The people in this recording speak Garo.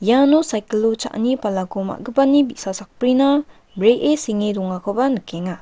iano sakiko o cha·ani palako ma·gipani bi·sa sakbrina bree senge dongakoba nikenga.